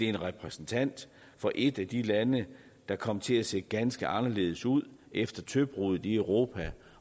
er repræsentant for et af de lande der kom til at se ganske anderledes ud efter tøbruddet i europa